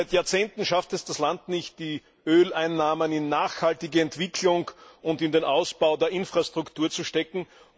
Seit Jahrzehnten schafft es das Land nicht, die Öleinnahmen in eine nachhaltige Entwicklung und in den Ausbau der Infrastrukturen zu stecken.